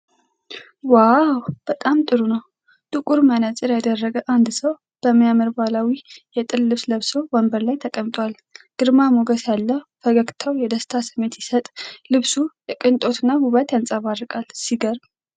ዋው፣ በጣም ጥሩ ነው! ጥቁር መነጽር ያደረገ አንድ ሰው በሚያምር ባህላዊ የጥልፍ ልብስ ለብሶ ወንበር ላይ ተቀምጧል። ግርማ ሞገስ ያለው ፈገግታው የደስታ ስሜት ሲሰጥ፣ ልብሱ የቅንጦት እና ውበት ያንጸባርቃል። ሲገርም!